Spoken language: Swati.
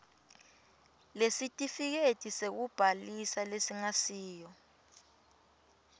lesitifiketi sekubhalisa lesingasiyo